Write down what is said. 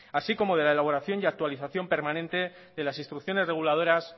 así como de la elaboración y actualización permanente de las instrucciones reguladoras